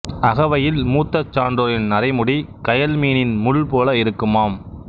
அகவையில் மூத்த சான்றோரின் நரைமுடி கயல்மீனின் முள் போல இருக்குமாம்